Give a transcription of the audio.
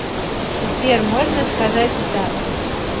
сбер можно сказать и так